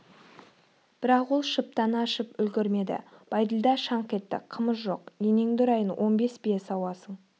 бірақ ол шыптаны ашып үлгірмеді бәйділда шаңқ етті қымыз жоқ енеңді ұрайын он бес бие сауасың